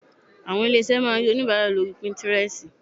Àwọn ilé-iṣé máa rí onìbàárà lóri píntírẹstì.